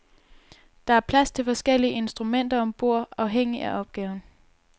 Der er plads til forskellige instrumenter om bord afhængig af opgaven.